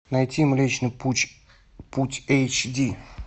найти млечный пуч путь эйч ди